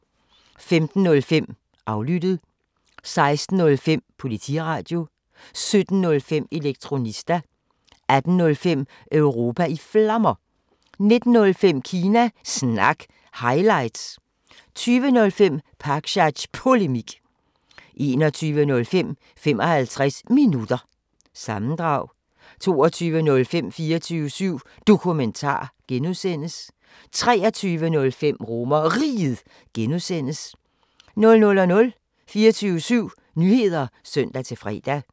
15:05: Aflyttet 16:05: Politiradio 17:05: Elektronista 18:05: Europa i Flammer 19:05: Kina Snak – highlights 20:05: Pakzads Polemik 21:05: 55 Minutter – sammendrag 22:05: 24syv Dokumentar (G) 23:05: RomerRiget (G) 00:00: 24syv Nyheder (søn-fre)